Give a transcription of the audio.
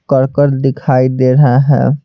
करकत दिखाई दे रहा है।